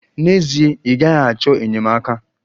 N'ezie, ị gaghị achọ enyemaka.